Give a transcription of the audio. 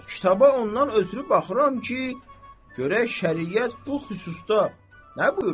Kitaba ondan ötrü baxıram ki, görək şəriət bu xüsusda nə buyurur.